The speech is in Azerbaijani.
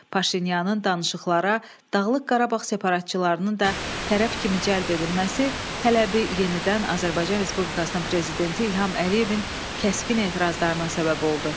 Paşinyanın danışıqlara Dağlıq Qarabağ separatçılarını da tərəf kimi cəlb edilməsi tələbi yenidən Azərbaycan Respublikasının Prezidenti İlham Əliyevin kəskin etirazlarına səbəb oldu.